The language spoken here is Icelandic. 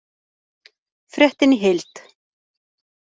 Fréttin í heild